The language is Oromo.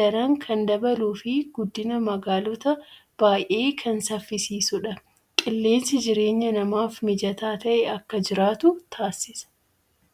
daran kan dabaluu fi guddina magaalotaa baay'ee kan saffisiisudha. Qilleensi jireenya namaaf mijataa ta'e akka jiraatu taasisa.